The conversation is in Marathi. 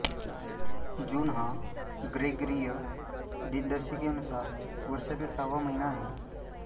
जून हा ग्रेगरीय दिनदर्शिकेनुसार वर्षातील सहावा महिना आहे